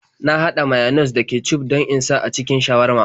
Na haɗa mayones da kecuf don in sa a cikin shawarma.